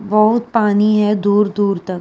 बहोत पानी है दूर-दूर तक।